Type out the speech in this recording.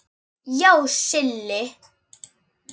Já, Silli.